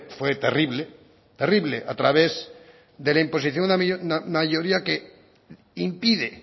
fue terrible terrible a través de la imposición a la mayoría que impide